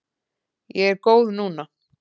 Ég er góð núna.